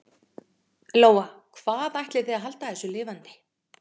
Lóa: Hvernig ætlið þið að halda þessu lifandi?